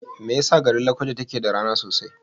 Me yasa garin Lakwaja take da rana sosai?